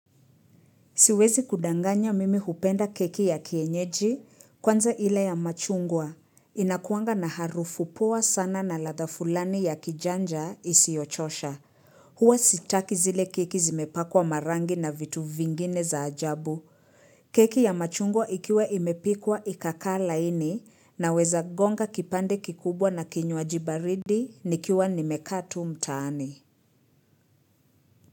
Siwezi kudanganya mimi hupenda keki ya kienyeji kwanza ile ya machungwa. Inakuanga na harufu poa sana na radha fulani ya kijanja isiyochosha. Huwa sitaki zile keki zimepakwa marangi na vitu vingine za ajabu. Keki ya machungwa ikiwa imepikwa ikakaa laini na weza gonga kipande kikubwa na kinywaji baridi nikiwa nimekaa tu mtaani.